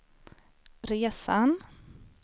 resan